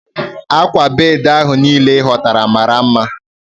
Akwa bedi ahu niile i hotara mara nma